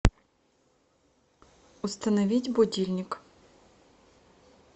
установить будильник